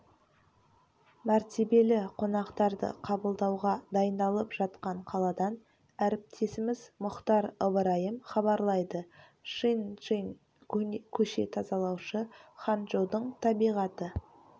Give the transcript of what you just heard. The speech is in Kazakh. мәртебелі қонақтарды қабылдауға дайындалып жатқан қаладан әріптесіміз мұхтар ыбырайым хабарлайды чын джынь көше тазалаушы ханчжоудың табиғаты